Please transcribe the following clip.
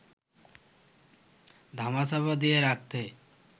ধামাচাপা দিয়ে রাখতে